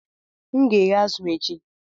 M ga-eghe azụ̀ echi